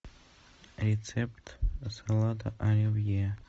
рецепт салата оливье